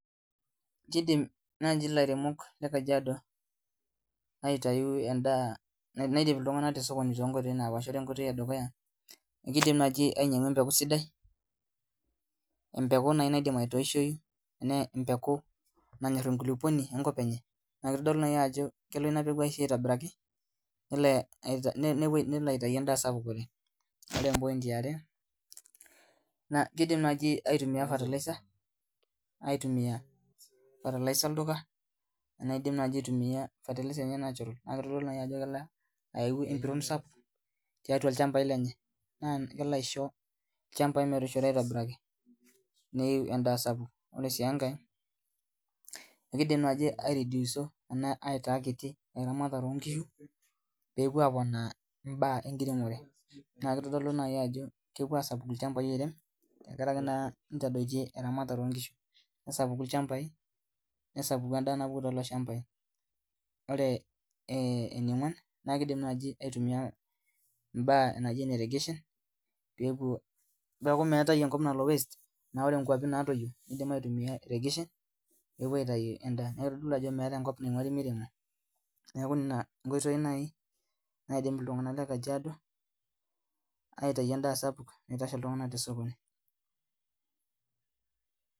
Kidim naaji ilairemok le kajiado aitayu endaa naidip iltung'anak te sokoni tonkoitoi napaasha ore enkoitoi edukuya ekidim naaji ainyiang'u empeku sidai empeku naaji naidim atoishoyu ne empeku nanyorr enkulupuoni enkop enye naa kitodolu naaji ajo kelo ina peku aisho aitobiraki nelo ae nelo eh nelo aitai endaa sapuk oleng ore em point iare naa kidimi naaji aitumia fertilizer aitumia fertilizer olduka anaa aidim naaji aitumia fertilizer enye natural naa kitodolu naaji ajo kelo ayau empiron sapuk tiatua ilchambai lenye naa kelo aisho ilchambai metoishoto aitobiraki neiu endaa sapuk ore sii enkae ekidim naaji aerediuso enaa aitaa kiti eramatare onkishu peepuo aponaa imbaa enkiremore naa kitodolu naai ajo kepuo asapuku ilchambai oirem tenkaraki naa nitadoitie eramatare onkishu nesapuku ilchambai nesapuku endaa napuku tolelo shambai ore eh eniong'uan naa kidim naaji aitumia imbaa naji ene regeshen peepuo peeku meetae enkop nalo waste naore inkuapi natoyio nidim aitumia eregeshen nepuo aitai endaa niak kitodolu ajo meetae enkop naing'uari miremo niaku nena inkoitoi nai naidim iltung'anak le kajiado aitai endaa sapuk naitosha iltung'anak tesokoni.